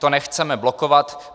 To nechceme blokovat.